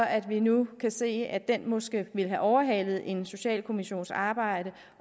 at vi nu kan se at den måske ville have overhalet en socialkommissions arbejde